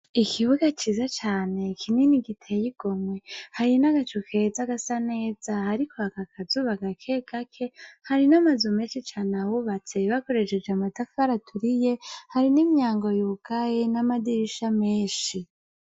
Ikibuga ciza cane kinini giteye igomwe, hari n'agacu keza gasa neza hariko haka akazuba gake gake, hari n'amazu menshi cane ahubatse bakoresheje amatafari aturiye, hari n'imyango yugaye n'amadirisha menshi.